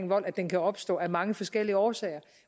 vold at den kan opstå af mange forskellige årsager